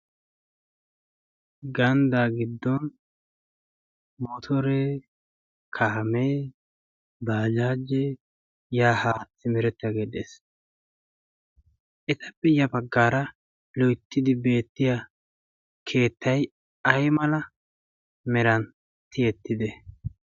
Ganddaa giddon motore kaamee baajaaje yaahaa simirettaa geeddhees etappe ya paggaara loittidi beettiya keettai ai mala meran tiyettide